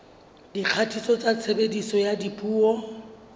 dikgatiso tsa tshebediso ya dipuo